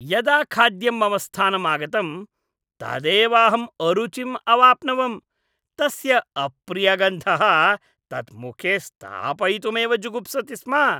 यदा खाद्यं मम स्थानम् आगतम् तदैवाहम् अरुचिं अवाप्नवम्। तस्य अप्रियगन्धः तत् मुखे स्थापयितुमेव जुगुप्सति स्म।